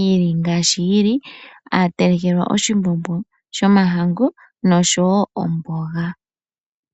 yili ngaashi yili. Ohaya telekelwa oshimbombo shomahangu nosho woo omboga.